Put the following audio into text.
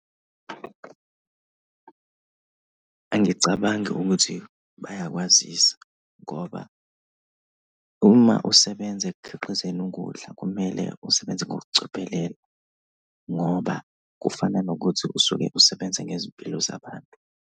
Angicabangi ukuthi bayakwazisa ngoba uma usebenza ekukhiqizeni ukudla, kumele usebenze ngokucophelela ngoba kufana nokuthi usuke usebenze ngezimpilo zabantu.